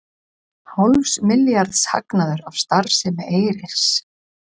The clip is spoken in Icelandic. Hálfs milljarðs hagnaður af starfsemi Eyris